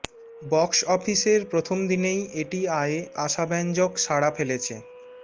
box অফিসের প্রথম দিনেই এটি আয়ে আশাব্যঞ্জক সাড়া ফেলেছে